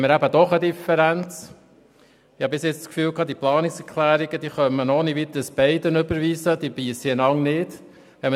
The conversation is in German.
Bisher bin ich davon ausgegangen, man könne betreffend die Planungserklärungen ohne Weiteres darauf verweisen, dass sie einander nicht beissen.